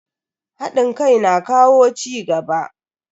Hadin kai na kawo cigaba.